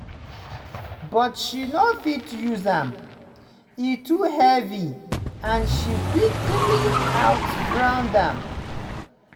but she no fit use am – e too heavy and she quickly outgrow am.